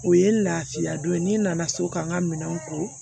O ye lafiya don ye n'i nana so ka n ka minɛnw ko